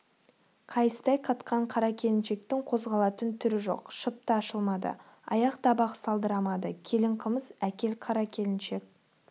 қайыстай қатқан қара келіншектің қозғалатын түрі жоқ шыпта ашылмады аяқ-табақ салдырамады келін қымыз әкел қара келіншек